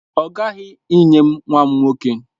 Ọ ghaghị inye m nwa nwoke!